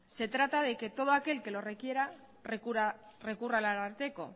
se trata de que todo aquel que lo requiera recurra al ararteko